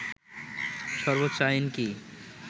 সর্বোচ্চ আইন কি